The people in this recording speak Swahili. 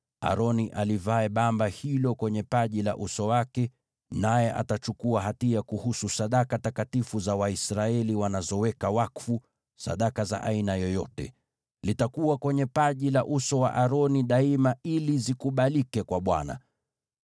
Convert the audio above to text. Aroni alivae bamba hilo kwenye paji la uso wake, naye atachukua hatia kuhusu sadaka takatifu za Waisraeli wanazoweka wakfu, sadaka za aina yoyote. Litakuwa kwenye paji la uso wa Aroni daima ili zikubalike kwa Bwana .